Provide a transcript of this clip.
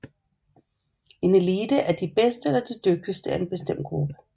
En elite er de bedste eller dygtigste af en bestemt gruppe